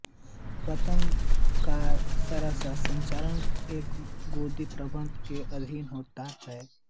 पत्तन का सारा संचालन एक गोदी प्रबंधक के अधीन होता है